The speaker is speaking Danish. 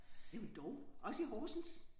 Jamen dog også i Horsens?